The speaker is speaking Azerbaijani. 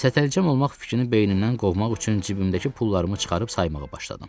Sətəlcəm olmaq fikrini beynimdən qovmaq üçün cibimdəki pullarımı çıxarıb saymağa başladım.